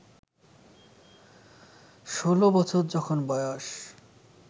ষোলো বছর যখন বয়স